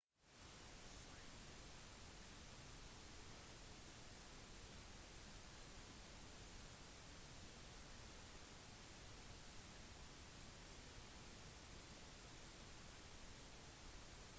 synlighet kan også være begrenset ved fallende eller blåsende snø eller ved kondensering eller is på kjøretøyvinduer